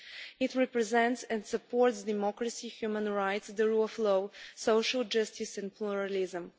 It represents and supports democracy, human rights, the rule of law, social justice and pluralism.